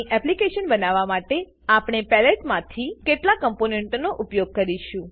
application બનાવવા માટે પેલેટમાથી કેટલાક કમ્પોનેંટોનો ઉપયોગ કરીશ